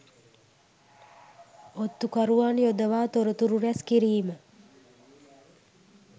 ඔත්තු කරුවන් යොදවා තොරතුරු රැස් කිරීම